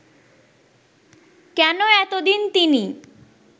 কেন এতদিন তিনি